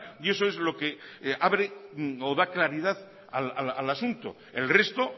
y eso es lo que abre o da claridad al asunto el resto